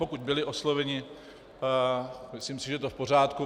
Pokud byly osloveny, myslím si, že je to v pořádku.